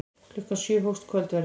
Klukkan sjö hófst kvöldverðurinn.